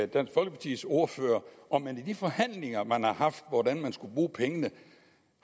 dansk folkepartis ordfører om man i de forhandlinger man har haft hvordan man skulle bruge pengene